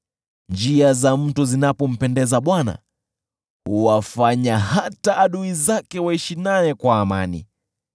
Njia za mtu zinapompendeza Bwana , huwafanya hata adui zake waishi naye kwa amani.